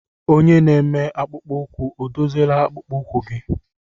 Onye na-eme akpụkpọ ụkwụ ọ dozila akpụkpọ ụkwụ gị?